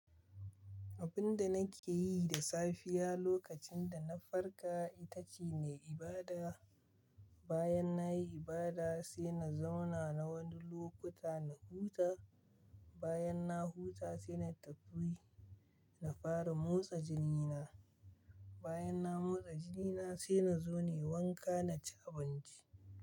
Abinda nake yi da safiya lokacin da na farka ita ce nayi ibada. Bayan na yi ibada sai na zauna na wani lokuta na huta. Bayan na huta sai na tafi na fara motsa jini na. Bayan na motsa jini na sai na zo nayi wanka na ci abinci.